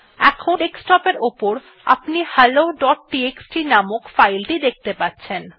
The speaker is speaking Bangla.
এখন ডেস্কটপ এর উপর আপনি helloটিএক্সটি নামক ফাইল টি দেখতে পাচ্ছেন